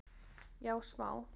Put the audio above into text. Já smá